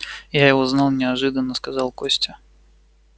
я его знал неожиданно сказал костя